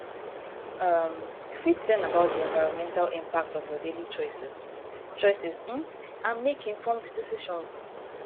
um you fit learn about di environmental impact of your daily choices choices um and make informed decisions